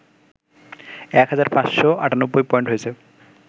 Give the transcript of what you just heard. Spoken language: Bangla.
এক হাজার ৫৯৮ পয়েন্ট হয়েছে